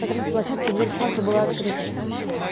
на третьей площадке дверь в комнату была открыта